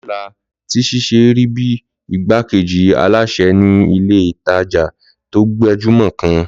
Lọlá ti ṣiṣẹ́ rí bíi igbákejì alásè ní ilé ìtanjẹ́ tó gbajúmọ̀ kan